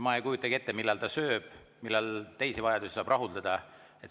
Ma ei kujuta ette, millal ta sööb, millal teisi vajadusi saab rahuldada.